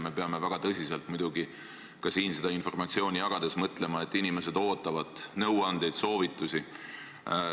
Me peame siin informatsiooni jagades väga tõsiselt mõtlema ka selle peale, et inimesed ootavad nõuandeid, soovitusi.